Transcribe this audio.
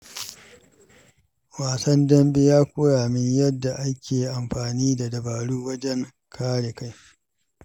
Wasan dambe ya koya min yadda ake amfani da dabaru wajen kare kai.